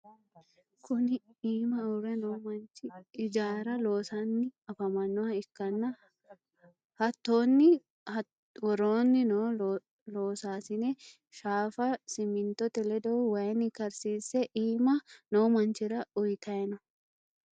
kuni iima uurre noo manchi ijaara loosanni afamanoha ikkanna hattonni woroonni noo loosasine shaafa simintote ledo wayinni karsiisse iima noo manchira uyitanno.